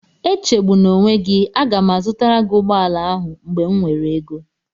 Echegbuna onwe gị, aga m azụtara gị ụgbọala ahụ mgbe m nwere ego